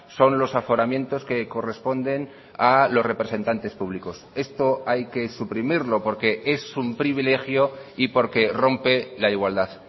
son los aforamientos que corresponden a los representantes públicos esto hay que suprimirlo porque es un privilegio y porque rompe la igualdad